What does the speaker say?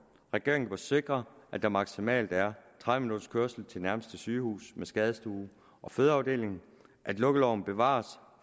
regeringen bør sikre at der maksimalt er tredive minutters kørsel til nærmeste sygehus med skadestue og fødeafdeling at lukkeloven bevares